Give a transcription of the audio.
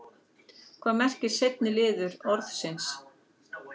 Hvað merkir seinni liður orðsins?